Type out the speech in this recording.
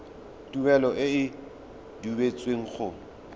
tuelo e e duetsweng go